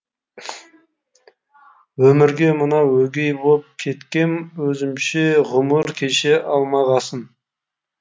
өмірге мынау өгей боп кеткем өзімше ғұмыр кеше алмағасын